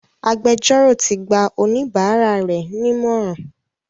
Agbẹjọ́rò ti gba oníbàárà rẹ̀ nímọ̀ràn.